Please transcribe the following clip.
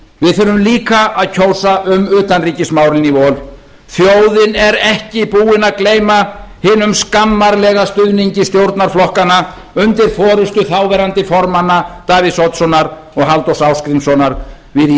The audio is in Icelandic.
við þurfum líka að kjósa um utanríkismálin í vor þjóðin er ekki búin að gleyma hinum skammarlega stuðningi stjórnarflokkanna undir forustu þáv formanna davíðs oddssonar og halldórs ásgrímssonar við